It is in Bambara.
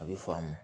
A bɛ faamu